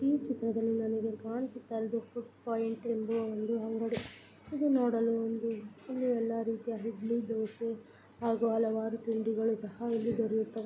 ಈ ಚಿತ್ರದಲ್ಲಿ ನಂಗೆ ಕಾಣಿಸುತ್ತ ಫುಡ್ ಪಾಯಿಂಟ್ ಅಂಗಡಿ ಇದು ನೋಡಲು ಒಂದು ಇಲ್ಲಿ ಎಲ್ಲರೂ ಇದ್ರೆ ಇಡ್ಲಿ ದೋಸೆ ಹಾಗು ಹಲವಾರು ತಿಂಡಿಗಳು ಸಹ ಇಲ್ಲಿ ದೊರೆಯುತ್ತವೆ.